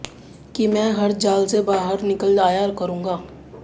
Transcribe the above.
कि मैं हर जाल से बाहर निकल जाया करूंगा